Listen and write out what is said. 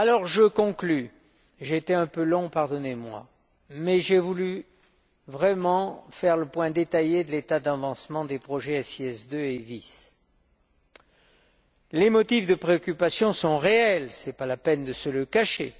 Je conclus, j'ai été un peu long, pardonnez moi, mais j'ai voulu vraiment faire le point détaillé sur l'état d'avancement des projets SIS II et VIS. Les motifs de préoccupation sont réels, ce n'est pas la peine de se le cacher.